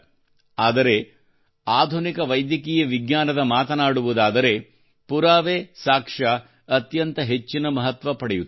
ಆದರೆ ಆಧುನಿಕ ವೈದ್ಯಕೀಯ ವಿಜ್ಞಾನದ ಮಾತನಾಡುವುದಾದರೆ ಪುರಾವೆ ಸಾಕ್ಷ್ಯ ಅತ್ಯಂತ ಹೆಚ್ಚಿನ ಮಹತ್ವ ಪಡೆಯುತ್ತದೆ